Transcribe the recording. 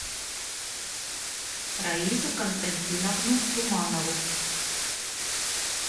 раису константиновну туманову